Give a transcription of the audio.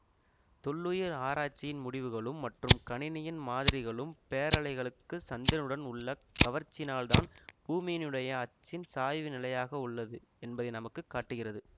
தொல்லுயிர் ஆராய்ச்சியின் முடிவுகளும் மற்றும் கணினியின் மாதிரிகளும் பேரலைகளுக்கு சந்திரனுடன் உள்ள கவர்ச்சியினால்தான் பூமியினுடைய அச்சின் சாய்வு நிலையாக உள்ளது என்பதை நமக்கு காட்டுகிறது